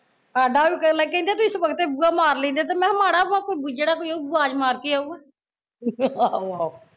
ਸਾਡਾ ਵੀ ਬੋਲਦੇ ਕਹਿਂਦੇ ਤੁਸੀਂ ਸਵਖਤੇ ਬੂਹਾ ਮਾਰ ਲੈਂਦੇ ਤੇ ਮੈਂ ਕਿਹਾ ਮਾੜਾ ਵਾ ਜਿਹੜਾ ਕੋਈ ਆਯੂ ਆਵਾਜ਼ ਮਾਰ ਕੇ ਅਉਗਾ